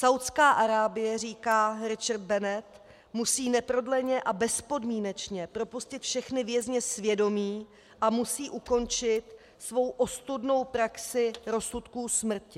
Saúdská Arábie, říká Richard Bennett, musí neprodleně a bezpodmínečně propustit všechny vězně svědomí a musí ukončit svou ostudnou praxi rozsudků smrti.